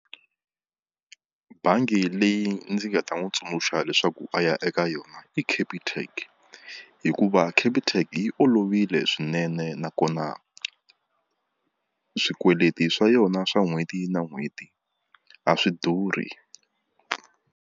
Bangi leyi ndzi nga ta n'wi tsundzuxa leswaku a ya eka yona i Capitec hikuva Capitec yi olovile swinene nakona swikweleti swa yona swa n'hweti na n'hweti a swi durhi.